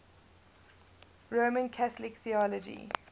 roman catholic theology